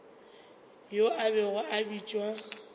yo a bego a bitšwa